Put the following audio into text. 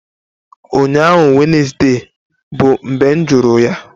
Ụnyaahụ Wednesday bụ mgbe m jụrụ ya!